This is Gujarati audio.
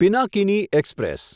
પિનાકિની એક્સપ્રેસ